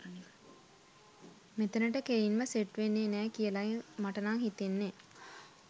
මෙතනට කෙලින්ම සෙට් වෙන්නේ නෑ කියලයි මට නං හිතෙන්නේ.